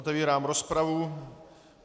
Otevírám rozpravu.